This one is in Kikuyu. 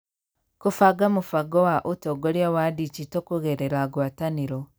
Kũbanga mũbango wa ũtongoria wa digito kũgerera ngwatanĩro.